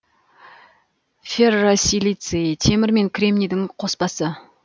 ферросилиций темір мен кремнийдің қоспасы